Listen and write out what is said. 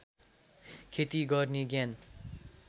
खेती गर्ने ज्ञान